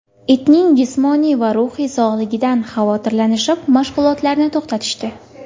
Itning jismoniy va ruhiy sog‘lig‘idan xavotirlanishib mashg‘ulotarni to‘xtatishdi.